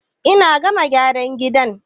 In na gama gyaran gida